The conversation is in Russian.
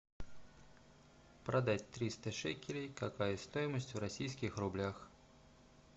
продать триста шекелей какая стоимость в российских рублях